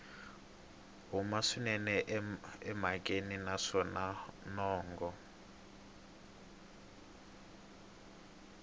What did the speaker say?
huma swinene emhakeni naswona mongo